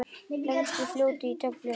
Lengstu fljótin í tölum